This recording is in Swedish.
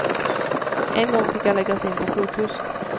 En gång fick jag läggas in på sjukhus.